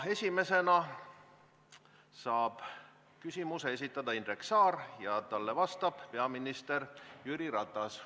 Esimesena saab küsimuse esitada Indrek Saar ja talle vastab peaminister Jüri Ratas.